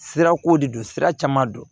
Sira ko de don sira caman don